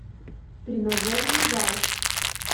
тренажерный зал